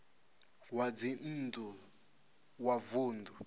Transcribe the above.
zwa dzinn ḓu wa vunḓu